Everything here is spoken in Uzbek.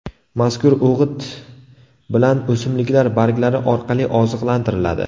Mazkur o‘g‘it bilan o‘simliklar barglari orqali oziqlantiriladi.